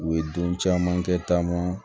U ye don caman kɛ taama